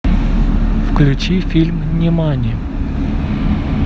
включи фильм нимани